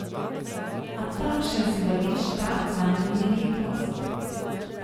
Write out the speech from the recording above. A takšen silovit štart zanjo ni redkost.